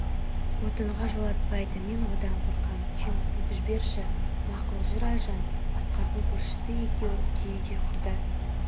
отынға жолатпайды мен одан қорқам сен қуып жіберші мақұл жүр айжан асқардың көршісі екеуі түйдей құрдас